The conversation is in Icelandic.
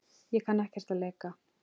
Ég kann ekkert að leika.